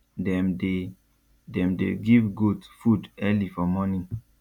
dem dey dem dey give goat food early for morning